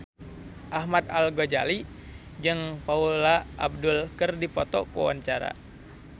Ahmad Al-Ghazali jeung Paula Abdul keur dipoto ku wartawan